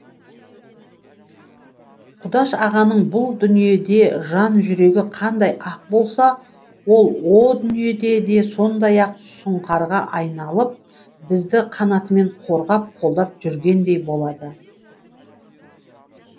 құдаш ағаның бұл дүниеде жан жүрегі қандай ақ болса ол ол дүниеде де сондай ақ сұңқарға айналып бізді қанатымен қорғап қолдап жүргендей болады